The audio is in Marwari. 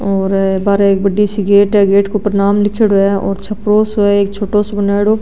और बार एक बड़ी सी गेट है गेट के ऊपर नाम लीखेड़ो है और एक छपरो सो है एक छोटो सो बनायेडो --